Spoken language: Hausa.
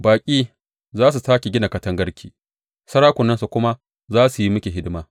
Baƙi za su sāke gina katangarki, sarakunansu kuma za su yi miki hidima.